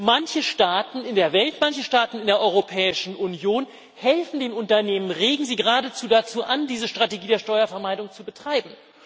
Manche Staaten in der Welt, manche Staaten in der Europäischen Union helfen den Unternehmen, regen sie geradezu dazu an, diese Strategie der Steuervermeidung zu betreiben.